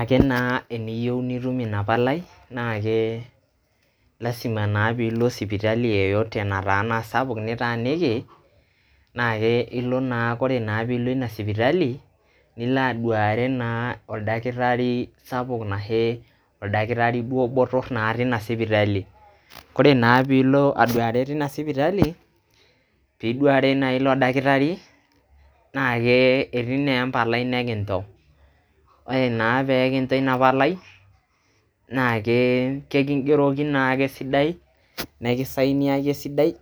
Ake naa eniyeu nitum ina palai, naake lazima naa piilo sipitali yeyote nataana sapuk nitaaniki naake ilo naa kore naa piilo ina sipitali nilo aduare naa oldakitari sapuk anashe oldakitari duo boror naa tina sipitali. Kore naa piilo aduare tina sipitali, piduare naa ilo dakitari naake etii naa empalai nekinjo, ore naake pee kinjo ina palai naake keking'eroki naake esidai, nekisigniaki naake esidai,